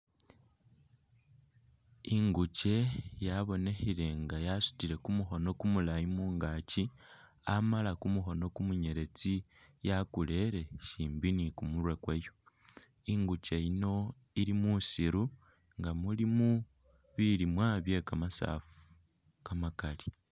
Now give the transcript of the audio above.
Jnguke yabonikhile nga yasutile kumukhono kumulayi mungaaki, amala kumukhono kumunyeletsi yakulele shimbi ni kumurwe kwayo. Inguuke yino ili musiiru nga mulimo bilimwa bye kamasaafu kamakali.